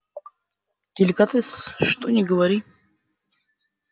деликатес что ни говори